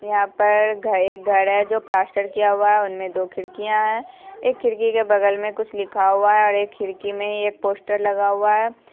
यहां पर घ एक घर है जो प्लास्टर किया हुआ है उन्न में दो खिरकियाँ है ऐक खिड़की के बगल में कुछ लिखा हुआ है और एक खिड़की में एक और और एक खिड़की में एक और लगा हुआ है।